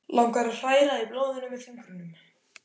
Langar að hræra í blóðinu með fingrunum.